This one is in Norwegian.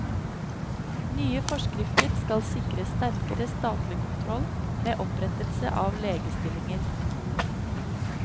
Nye forskrifter skal sikre sterkere statlig kontroll med opprettelse av legestillinger.